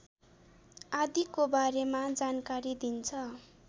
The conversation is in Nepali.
आदिको बारेमा जानकारी दिन्छ